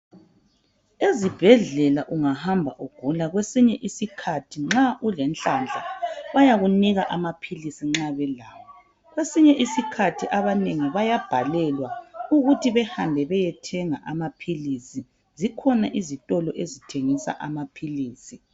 Ezibhedlela ungahamba ugula kwesinye isikhathi nxa ulenhlanhla bayakunika amaphilisi nxa belawo kwesinye isikhathi abanengi bayabhalelwa ukuthi behambe beyethenga amaphilisi zikhona izitolo ezithengisa amaphilisi.